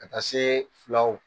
Ka taa se fulaw o ma.